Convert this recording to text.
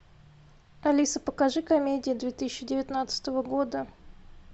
алиса покажи комедии две тысячи девятнадцатого года